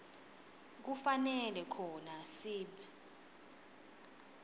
kufanele khona sib